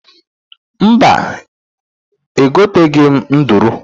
Mba, egoteghi m nduru.